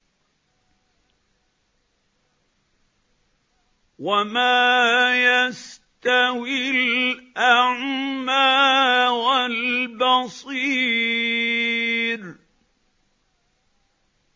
وَمَا يَسْتَوِي الْأَعْمَىٰ وَالْبَصِيرُ